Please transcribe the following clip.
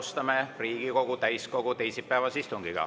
Alustame Riigikogu täiskogu teisipäevast istungit.